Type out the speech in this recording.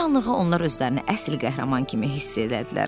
Bir anlığı onlar özlərini əsl qəhrəman kimi hiss elədilər.